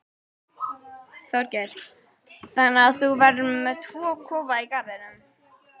Þorgeir: Þannig að þú verður með tvo kofa í garðinum?